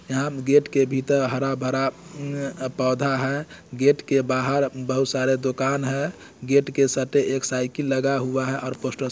यहाँ गेट के भीतर हरा-भरा पौधा है गेट के बाहर बहुत सारा दुकान है गेट के सटे एक साइकिल लगा हुआ है और पोस्टर --